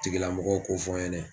Tigilamɔgɔw ko fɔ n ɲɛnɛ.